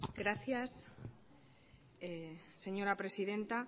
gracias señora presidenta